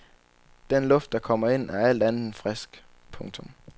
Den luft der kommer ind er alt andet end frisk. punktum